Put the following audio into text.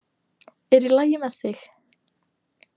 Er í lagi með þig?